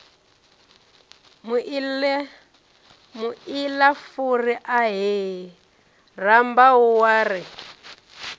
muilafuri ahee rambau wa ri